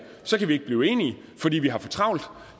så kan vi ikke blive enige fordi vi har for travlt